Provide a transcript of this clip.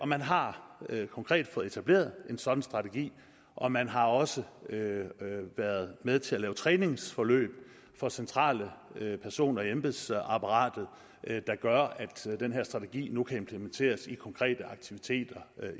man har konkret fået etableret en sådan strategi og man har også været med til at lave træningsforløb for centrale personer i embedsapparatet der gør at den her strategi nu kan implementeres i konkrete aktiviteter